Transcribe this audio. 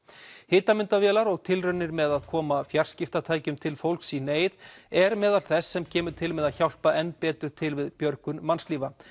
hitamyndavélar og tilraunir með að koma fjarskiptatækjum til fólks í neyð er meðal þess sem kemur til með að hjálpa enn betur til við björgun mannslífa